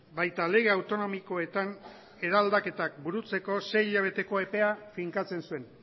baita lege autonomikoetan eraldaketak burutzeko sei hilabeteko epea finkatzen zuen